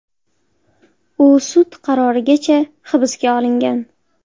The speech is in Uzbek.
U sud qarorigacha hibsga olingan.